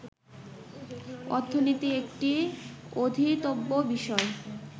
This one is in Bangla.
অর্থনীতি একটি অধীতব্য বিষয়